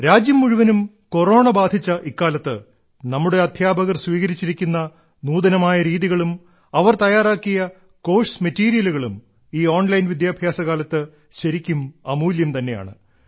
രാജ്യം മുഴുവനും കൊറോണ ബാധിച്ച ഇക്കാലത്ത് നമ്മുടെ അദ്ധ്യാപകർ സ്വീകരിച്ചിരിക്കുന്ന നൂതനമായ രീതികളും അവർ തയ്യാറാക്കിയ കോഴ്സ് മെറ്റീരിയലുകളും ഈ ഓൺലൈൻ വിദ്യാഭ്യാസകാലത്ത് ശരിക്കും അമൂല്യം തന്നെയാണ്